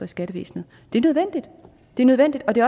skattevæsenet det er nødvendigt og det